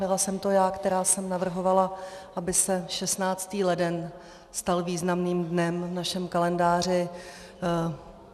Byla jsem to já, která jsem navrhovala, aby se 16. leden stal významným dnem v našem kalendáři.